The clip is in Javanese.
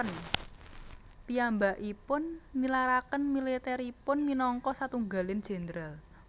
Piyambakipun nilaraken militeripun minangka satunggaling jenderal